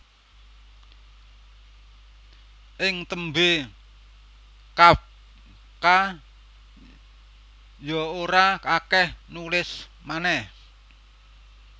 Ing tembé Kafka ya ora akèh nulis manèh